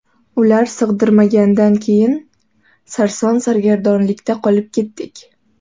Ular sig‘dirmagandan keyin sarson-sargardonlikda qolib ketdik.